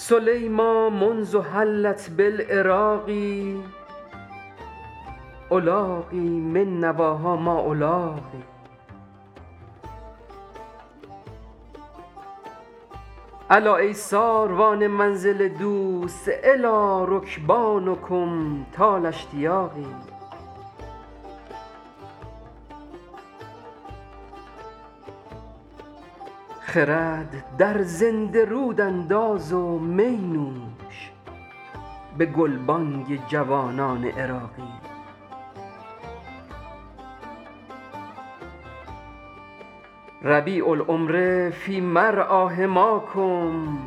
سلیمیٰ منذ حلت بالعراق ألاقی من نواها ما ألاقی الا ای ساروان منزل دوست إلی رکبانکم طال اشتیاقی خرد در زنده رود انداز و می نوش به گلبانگ جوانان عراقی ربیع العمر فی مرعیٰ حماکم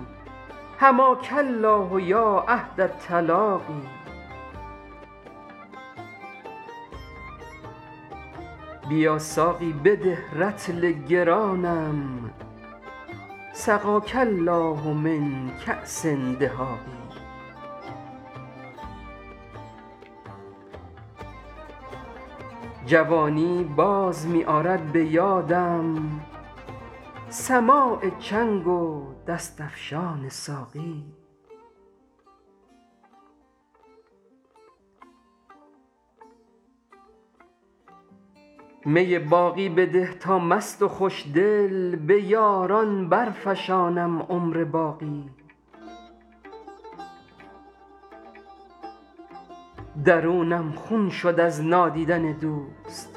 حماک الله یا عهد التلاقی بیا ساقی بده رطل گرانم سقاک الله من کأس دهاق جوانی باز می آرد به یادم سماع چنگ و دست افشان ساقی می باقی بده تا مست و خوشدل به یاران برفشانم عمر باقی درونم خون شد از نادیدن دوست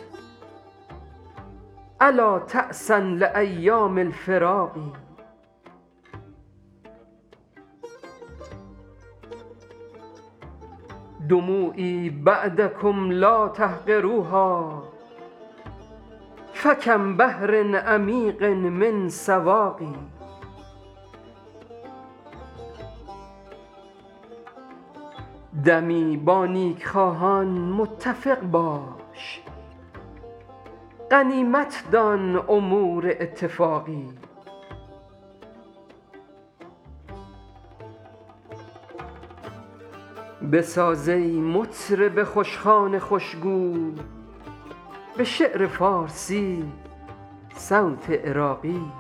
ألا تعسا لأیام الفراق دموعی بعدکم لا تحقروها فکم بحر عمیق من سواق دمی با نیکخواهان متفق باش غنیمت دان امور اتفاقی بساز ای مطرب خوشخوان خوشگو به شعر فارسی صوت عراقی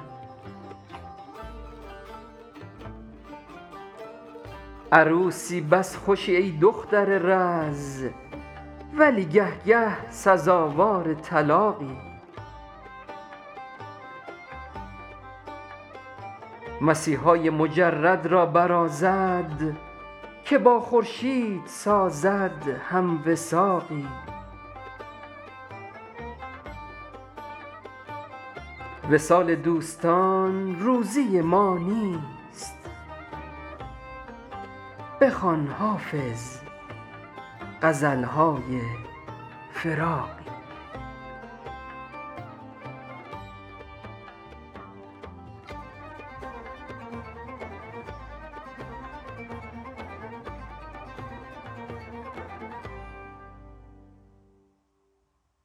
عروسی بس خوشی ای دختر رز ولی گه گه سزاوار طلاقی مسیحای مجرد را برازد که با خورشید سازد هم وثاقی وصال دوستان روزی ما نیست بخوان حافظ غزل های فراقی